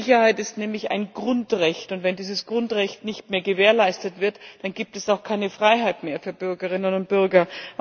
Sicherheit ist nämlich ein Grundrecht, und wenn dieses Grundrecht nicht mehr gewährleistet wird, dann gibt es auch keine Freiheit mehr für Bürgerinnen und Bürger.